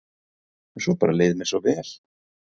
Svo bara leið mér svo vel.